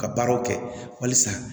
Ka baaraw kɛ halisa